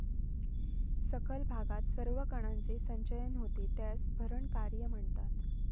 सखल भागात सर्व कणांचे संचयन होते त्यास भरण कार्य म्हणतात.